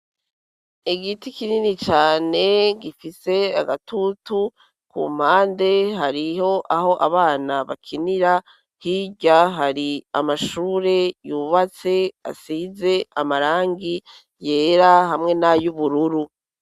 Igiti kinini cane gifise agatutu ku mpande hariho aho abana bakinira, hirya hari amashure yubatse asize amarangi yera hamwe n'ayubururu.